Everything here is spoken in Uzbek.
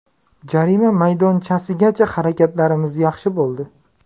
Jarima maydonchasigacha harakatlarimiz yaxshi bo‘ldi.